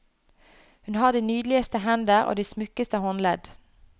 Hun har de nydeligste hender og de smukkeste håndledd.